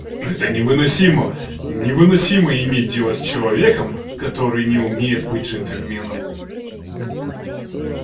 это невыносимо невыносимо иметь дело с человеком который не умеет быть джентльменом